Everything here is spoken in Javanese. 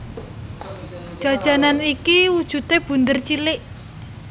Jajanan iki wujudé bunder cilik